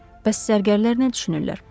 Bəs zərgərlər nə düşünürlər?